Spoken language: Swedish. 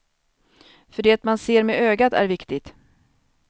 För det man ser med ögat är viktigt.